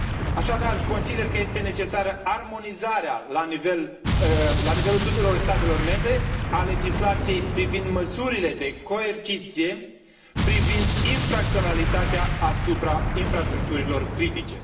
Așadar, consider că este necesară armonizarea, la nivelul tuturor statelor membre, a legislației privind măsurile de coerciție, privind infracționalitatea asupra infrastructurilor critice.